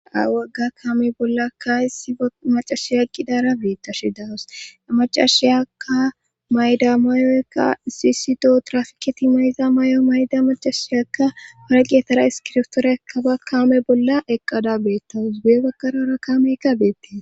Awagga kaame bollaka issi a macashiya qidara beetta shi dawos a macashiyaka mayda mayoykka sisido trafiketi mayda may'o mayda macashiyakka paraqeetara iskirftoore ka ba kaame bolla eqqada beettawus buye bakarora kaameykka beettee.